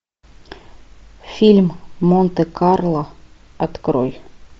фильм монте карло открой